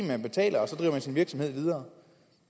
man betaler og så driver man sin virksomhed videre